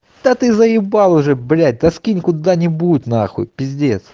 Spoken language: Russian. да ты заебал уже блять да скинь куда-нибудь нахуй пиздец